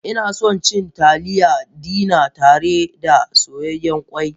Ina son cin Taliya dina tare da soyayyen ƙwai.